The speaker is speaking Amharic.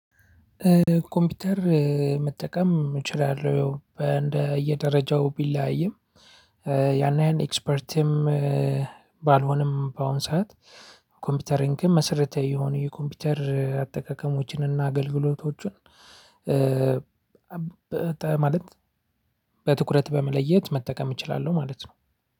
ኮምፒውተር መጠቀም እችላለሁ። በእንደየደረጃው ቢለያይም ያን ያህል ኤክስፐርትም ባልሆንም በአሁን ሰዓት ኮምፒውተሬን ግን መሰረታዊ የሆነ የኮምፒውተር አጠቃቀሞችን እና አገልግሎቶቹን ማለት በትኩረት በመለየት መጠቀም እችላለሁ ማለት ነው።